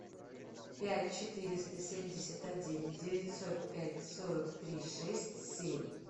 пять четыреста семьдесят один девятьсот пять сорок три шесть семь